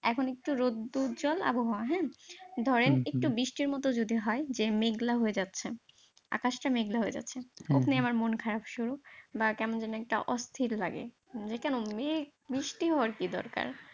এখন একটু রোদ্দুর জল আবহাওয়া হ্যাঁ ধরেন একটু বৃষ্টির মতো যদি হয়, যে মেঘলা হয়ে যাচ্ছে, আকাশটা মেঘলা হয়ে যাচ্ছে, অমনি আমার মন খারপ শুরু বা কেমন যেন একটা অস্থির লাগে, যে কেন মেঘ, বৃষ্টি হওয়ার কি দরকার